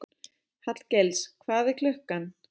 Hallgils, hvað er klukkan?